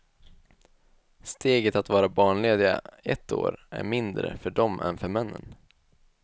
Steget att vara barnlediga ett år är mindre för dem än för männen.